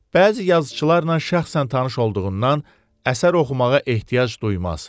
Bəzi yazıçılarla şəxsən tanış olduğundan əsər oxumağa ehtiyac duymaz.